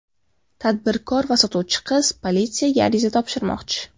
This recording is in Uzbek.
Tadbirkor va sotuvchi qiz politsiyaga ariza topshirmoqchi.